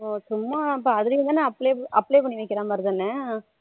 oh சும்மா அப்போ அதுலயும் தானா apply பண்ணி வைக்குற மாதிரி தானா